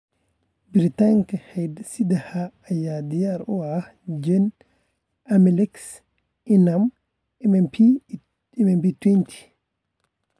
Baaritaanka hidde-sidaha ayaa diyaar u ah gen- AMELX, ENAM, iyo MMP twenty.